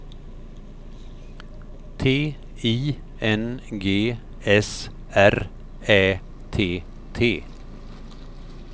T I N G S R Ä T T